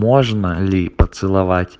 можно ли поцеловать